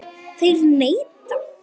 Þeir neita.